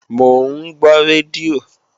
Mò ń gbọ́ rédíò